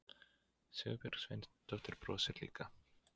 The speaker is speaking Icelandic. Sigurbjörg Sveinsdóttir brosir líka.